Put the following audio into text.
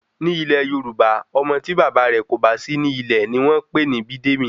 Ni ilè Yorùbá, Ọmọ ti bàbá rè kò bá sí ní ilẹ̀ ni wọ́n pè ní Abídèmí